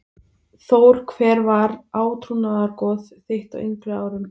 Þór Hver var átrúnaðargoð þitt á yngri árum?